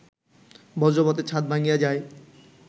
বজ্রপাতে ছাদ ভাঙ্গিয়া যায়